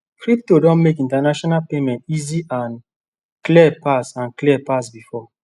crypto don make international payment easy and clear pass and clear pass before